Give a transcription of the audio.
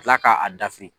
Ka tila k'a dafiri